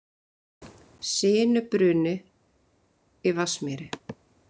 Sinubruni í Vatnsmýri